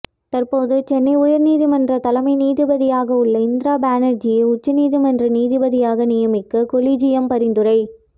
தற்போது சென்னை உயர்நீதிமன்ற தலைமை நீதிபதியாக உள்ள இந்திரா பானர்ஜியை உச்சநீதிமன்ற நீதிபதியாக நியமிக்க கொலிஜியம் பரிந்துரை